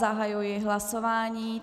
Zahajuji hlasování.